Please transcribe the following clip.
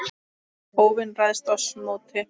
óvin ræðst oss móti.